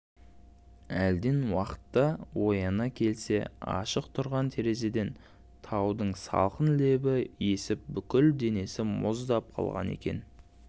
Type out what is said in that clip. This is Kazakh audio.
әлден уақытта ояна келсе ашық тұрған терезеден таудың салқын лебі есіп бүкіл денесі мұздап қалған екен